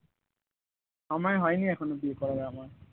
আমার হয়নি এখনো বিয়ের করা আমার